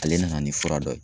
Ale nana ni fura dɔ ye.